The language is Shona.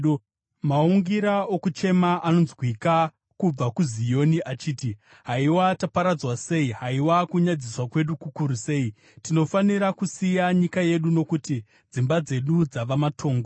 Maungira okuchema anonzwika kubva kuZioni achiti: ‘Haiwa taparadzwa sei! Haiwa kunyadziswa kwedu kukuru sei! Tinofanira kusiya nyika yedu nokuti dzimba dzedu dzava matongo.’ ”